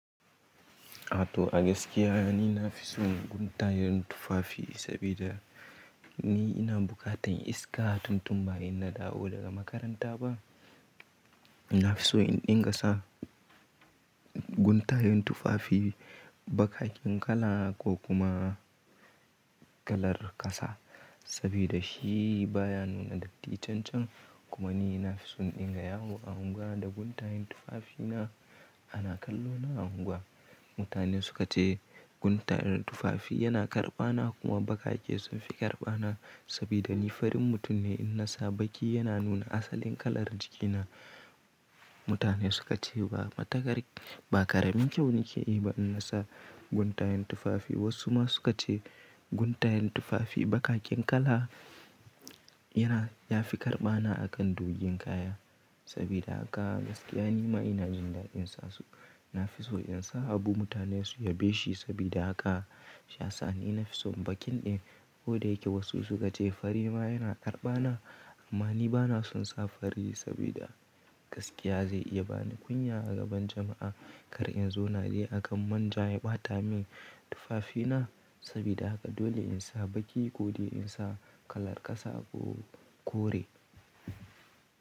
Ato a gaskiya ni na fi son guntayen tufafi sabida ni ina bukatan iska tun tun ba in na dawo daga makaranta ba. Na fi so in dinga sa guntayen tufafi bakaken kala ko kuma kalar kasa sabida shi baya nuna datti can can. Kuma ni na fi son ingayawo a unguwa da guntayen tufafina. Ana kallo na a unguwa. Mutane suka ce guntayen tufafi yana karɓana kuma bakake sun fi karɓana sabida ni farin mutum ne in na sa baki yana nuna asalin kalar jikina. Mutane suka ce ba matukar ba karamin kyau nake yi ba in na sa guntayen tufafi. Wasu ma suka ce guntayen tufafi bakaken kala yana ya fi karɓana akan dogon kaya. Sabida haka gaskiya ni ma ina jin dadin sa su. Na fi so in sa abu mutane su yabe shi sabida haka shi yasa ni na fi son bakin din. Ko da yake wasu suka ce fari ma yana karɓana amma ni ba na son sa fari sabida gaskiya zai iya bani kunya a gaban jama'a kar in zo na je akan manja ya ɓata min tufafina. Sabida haka dole in sa baki ko dai in sa kalar kasa ko kore.